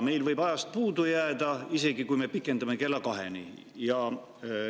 Meil võib aga ajast puudu jääda, isegi kui me pikendame kella kaheni.